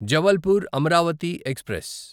Jabalpur Amaravati express